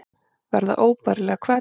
Verða óbærilega hvell.